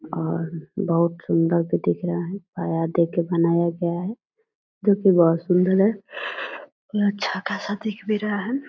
और बहुत सूंदर भी दिख रहा है देके बनाया गया है जो की बहुत सुंदर है ये अच्छा खासा दिख भी रहा है।